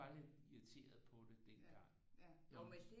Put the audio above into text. Var lidt irriteret på det dengang